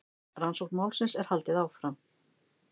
Rannsókn málsins er haldið áfram